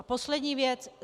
A poslední věc.